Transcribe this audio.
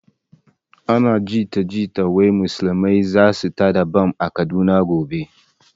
Ana jita jita wai musulmai zasu tada bam a kaduna gobe